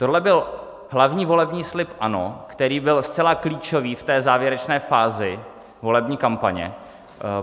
Tohle byl hlavní volební slib ANO, který byl zcela klíčový v té závěrečné fázi volební kampaně.